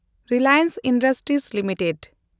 Reliance Industries limited